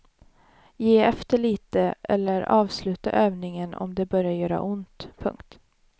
Ge efter lite eller avsluta övningen om det börjar göra ont. punkt